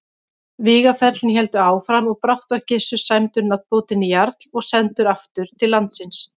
Vígaferlin héldu áfram og brátt var Gissur sæmdur nafnbótinni jarl og sendur aftur til landsins.